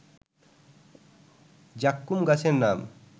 যাক্কুম গাছের নাম